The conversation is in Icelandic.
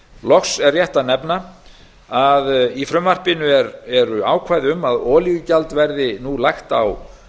loks er rétt að nefna að í frumvarpinu eru ákvæði um að olíugjald verði nú lagt á